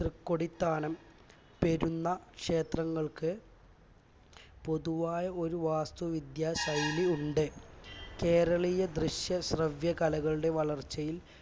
തൃക്കൊടിത്താനം പെരുന്ന ക്ഷേത്രങ്ങൾക്ക് പൊതുവായ ഒരു വാസ്തുവിദ്യാ ശൈലി ഉണ്ട് കേരളീയ ദൃശ്യ ശ്രവ്യ കലകളുടെ വളർച്ചയിൽ